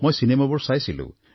মই চিনেমাবোৰ চাইছিলোঁ